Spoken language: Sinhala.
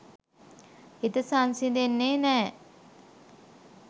හිත සංසිඳෙන්නෙ නෑ.